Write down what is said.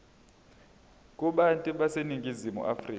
kubantu baseningizimu afrika